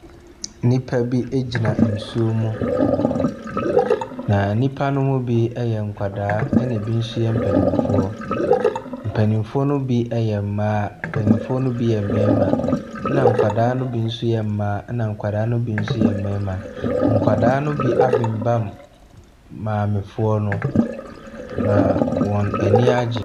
Nnipa bi egyina nsuo mu. Na nnipa no mu bi ɛyɛ nkwadaa ɛna ebi nso yɛ mpaninfoɔ. Mpaninfoɔ no bi yɛ mmaa, mpaninfoɔ no bi yɛ mmarima. Ɛna nkwadaa no bi yɛ mmaa, ɛna nkwadaa no bi nso ɛyɛ mmarima. Nkwadaa no bi abenbam maamefoɔ no. na wɔn aniagye.